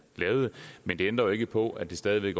lavede men det ændrer ikke på at det stadig